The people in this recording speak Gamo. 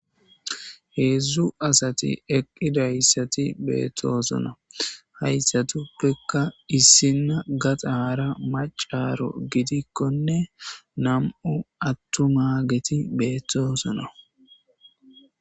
Heedzdzu asati eqidiysati betosona hayisatupoeka issina gaxara macaro gidikone nam'u atummageti betosona.